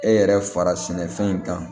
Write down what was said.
E yɛrɛ fara sɛnɛfɛn in kan